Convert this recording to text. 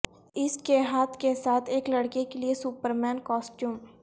اس کے ہاتھ کے ساتھ ایک لڑکے کے لئے سپرمین کاسٹیوم